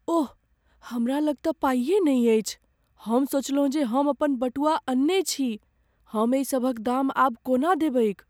ओह! हमरा लग तँ पाइए नहि अछि, हम सोचलहुँ जे हम अपन बटुआ अनने छी। हम एहि सभक दाम आब कोना देबैक?